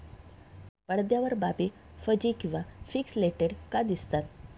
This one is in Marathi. पडद्यावर बाबी फज्जि किंवा पिक्सलेटेड का दिसतात?